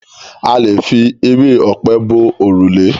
A lè fi ewé ọ̀pẹ bo òrùlé.